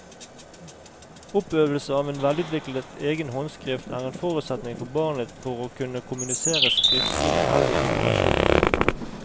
Oppøvelse av en velutviklet egen håndskrift er en forutsetning for barnet for å kunne kommunisere skriftlig med eldre generasjoner.